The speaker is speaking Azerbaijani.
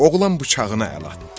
Oğlan bıçağını əl atdı.